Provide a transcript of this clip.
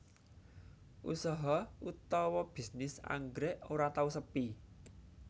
Usaha utawa bisnis anggrèk ora tau sepi